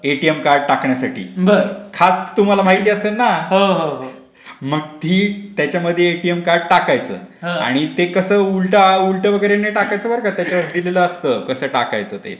ATM card टाकण्यासाठी खाच तुम्हाला माहिती असेल ना. मग ती त्याच्यामध्ये एटीएम कार्ड टाकायचा. आणि ते कसं उलटं उलटं वगैरे नाही टाकायच बरं का ते त्यावर दिलेला असता कसा टाकायचा ते ?